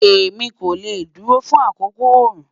Emi ko le duro fun akoko ooru